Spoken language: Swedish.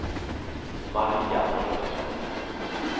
Maria Torstensson